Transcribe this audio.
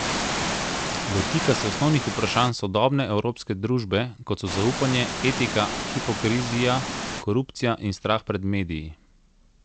Dotika se osnovnih vprašanj sodobne evropske družbe, kot so zaupanje, etika, hipokrizija, korupcija in strah pred mediji.